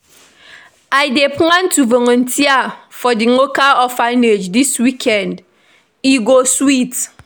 I dey plan to volunteer for di local orphanage this weekend, e go sweet.